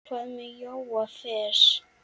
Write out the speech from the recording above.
Hvað með Jóa fress?